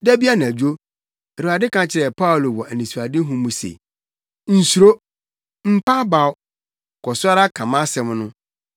Da bi anadwo, Awurade ka kyerɛɛ Paulo wɔ anisoadehu mu se, “Nsuro! Mpa abaw! Kɔ so ara ka mʼasɛm no,